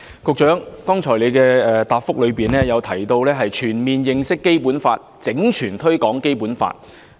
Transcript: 局長剛才的答覆提到，要全面認識《基本法》，整全推廣《基本法》。